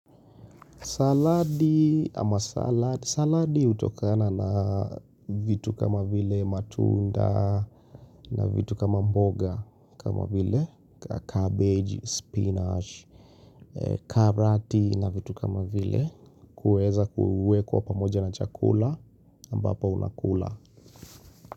Saladi ama salad, saladi hutokana na vitu kama vile matunda na vitu kama mboga kama vile, cabbage, spinach, karati na vitu kama vile, kuweza kuwekwa pamoja na chakula ambapo unakula.